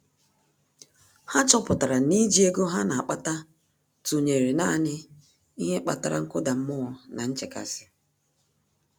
Há chọ́pụ̀tárà na íjí ego há nà-ákpàtà tụnyere nāànị́ ihe kpatara nkụda mmụọ na nchekasị.